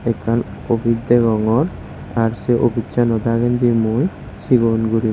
ekan opice degongor ar sey opice sano dagendi mui segon guriney.